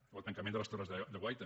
o el tancament de les torres de guaita